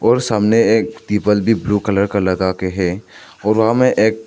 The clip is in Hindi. और सामने एक पीपल भी ब्लू कलर का लगाके हैं और वहां मे एक--